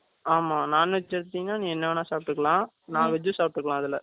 ஆமா. Non veg எடுத்தீங்கன்னா, நீ என்ன வேணா, சாப்பிட்டுக்கலாம். veg சாப்பிட்டுக்கலாம், அதுல